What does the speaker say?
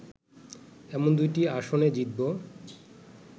এমন দুইটি আসনে জিতব